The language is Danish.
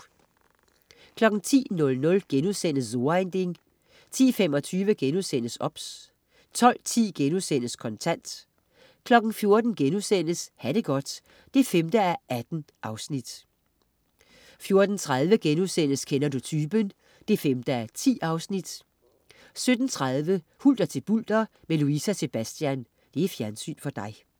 10.00 So ein Ding* 10.25 OBS* 12.10 Kontant* 14.00 Ha' det godt 5:18* 14.30 Kender du typen? 5:10* 17.30 Hulter til bulter med Louise og Sebastian. Fjernsyn for dig